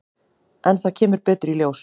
En það kemur betur í ljós.